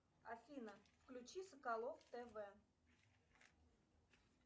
афина включи соколов тв